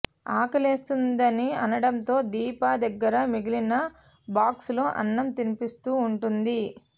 ఆకలేస్తుందని అనడంతో దీప దగ్గర మిగిలిన బాక్స్లో అన్నం తినిపిస్తూ ఉంటుంది